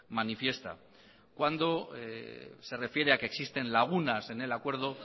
manifiesta cuando se refiere a que existen lagunas en el acuerdo